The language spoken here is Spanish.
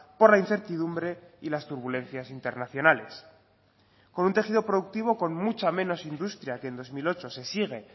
por la incertidumbre y las turbulencias internacionales con un tejido productivo con mucha menos industria que en dos mil ocho se sigue